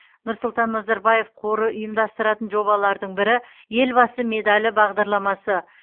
нұрсұлтан назарбаев қоры ұйымдастыратын жобалардың бірі елбасы медалі бағдарламасы